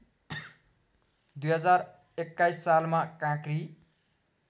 २०२१ सालमा काँक्री